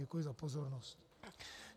Děkuji za pozornost.